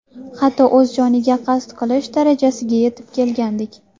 Hatto o‘z joniga qasd qilish darajasiga yetib kelgandik.